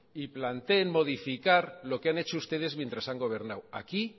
y planteen modificar lo que han hecho ustedes mientras han gobernado aquí